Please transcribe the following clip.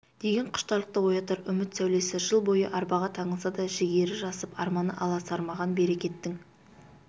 деген құштарлықты оятар үміт сәулесі жыл бойы арбаға таңылса да жігері жасып арманы аласармаған берекеттің